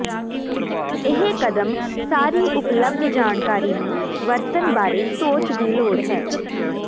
ਇਹ ਕਦਮ ਸਾਰੀ ਉਪਲਬਧ ਜਾਣਕਾਰੀ ਨੂੰ ਵਰਤਣ ਬਾਰੇ ਸੋਚ ਦੀ ਲੋੜ ਹੈ